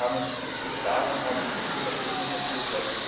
Wir haben uns gut geschlagen und ein gutes Ergebnis erzielt.